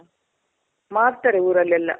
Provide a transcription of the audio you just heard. ಮಾಡ್ತಾರೆ ಊರಲ್ಲೆಲ್ಲ.